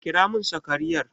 Kira mun sakariyar!